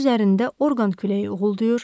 Dəniz üzərində orqan küləyi uğuldayır.